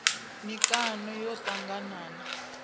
mikano cbrta ḽo ṱangana na